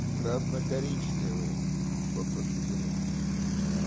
красно-коричневые попрошу заметить